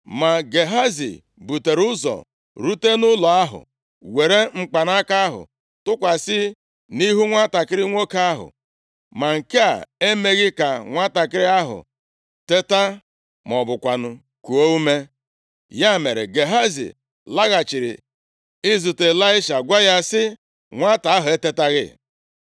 Ma Gehazi butere ụzọ rute nʼụlọ ahụ, were mkpanaka ahụ tụkwasị nʼihu nwantakịrị nwoke ahụ, ma nke a emeghị ka nwantakịrị ahụ teta ma ọ bụkwanụ kuo ume. Ya mere, Gehazi laghachiri izute Ịlaisha, gwa ya sị, “Nwata ahụ etetaghị.”